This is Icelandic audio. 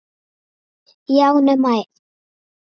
Já, nema ein!